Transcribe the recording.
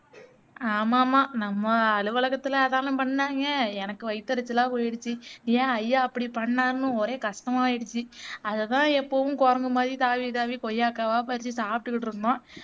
ஆமா ஆமா நம்ம அலுவலகத்துல அதெல்லாம் பண்ணாங்க எனக்கு வயித்தெரிச்சலா போயிருச்சு ஏன் ஐயா அப்படி பண்ணாருன்னு ஒரே கஷ்டமாகிருச்சு அதாதான் எப்பவும் குரங்கு மாதிரி தாவி தாவி கொய்யக்காவா பறிச்சு சாப்பிட்டுக்குட்டிருந்தோம்